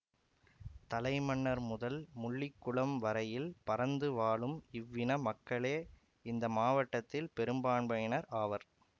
தலைமன்னார் முதல் முள்ளிக்குளம் வரையில் பரந்து வாழும் இவ் இன மக்களே இந்த மாவட்டத்தில் பெரும்பான்மையினர் ஆவர்